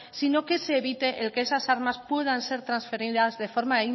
sino que ese evite el que esas armas puedan ser transferidas de forma